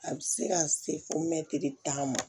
A bɛ se ka se fɔ mɛtiri tan ma